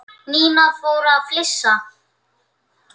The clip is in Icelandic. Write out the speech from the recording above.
Nína fór að flissa.